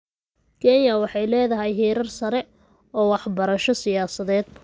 Kenya waxay leedahay heerar sare oo waxbarasho siyaasadeed.